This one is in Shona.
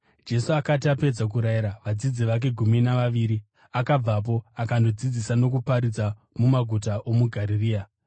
Jesu akati apedza kurayira vadzidzi vake gumi navaviri, akabvapo akandodzidzisa nokuparidza mumaguta omuGarirea.